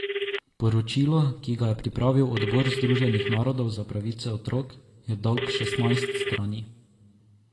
Poročilo, ki ga je pripravil odbor Združenih narodov za pravice otrok, je dolg šestnajst strani.